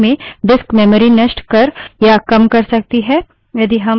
यदि हम कई commands की श्रृंखला बनाना भी चाहते हैं यह पद्धति धीमी है